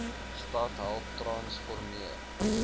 stad help transformeer